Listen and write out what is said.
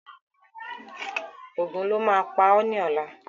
Ògún lo má á pá ọ ni ọ̀la